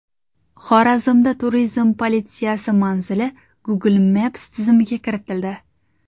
Xorazmda turizm politsiyasi manzili Google Maps tizimiga kiritildi.